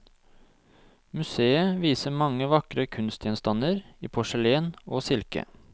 Museet viser mange vakre kunstgjenstander i porselen og silke.